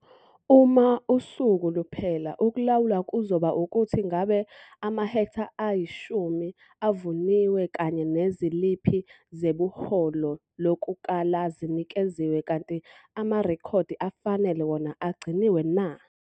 Uma usuku luphela ukulawula kuzoba ukuthi ngabe amahektha ayi-10 avuniwe kanye neziliphi zebhuloho lokukala zinikeziwe kanti amarekhodi afanele wona agciniwe na.